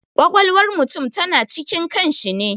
Ƙwaƙwalwar mutum ta na cikin kan shi ne